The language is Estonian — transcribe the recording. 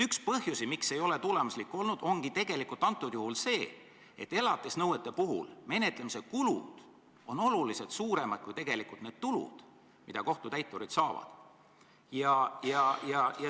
Üks põhjusi, miks see ei ole tulemuslik olnud, ongi see, et elatisnõuete puhul on menetlemise kulud oluliselt suuremad kui tulud, mida kohtutäiturid saavad.